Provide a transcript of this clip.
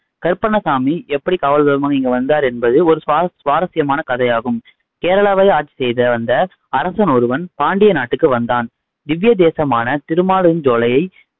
கருப்பசாமி எப்படி காவல் தெய்வமா இங்க வந்தாரு என்பது ஒரு சுவாரஸ்யமான கதையாகும் கேரளாவை ஆட்சி செய்த வந்து அரசன் ஒருவன் பாண்டிய நாட்டுக்கு வந்தான் திவ்யதேசமான திருமாலிருஞ்சோலை